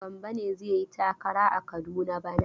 Gambo ne zai yi takara a Kaduna bana.